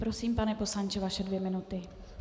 Prosím, pane poslanče, vaše dvě minuty.